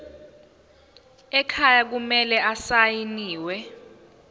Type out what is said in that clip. ekhaya kumele asayiniwe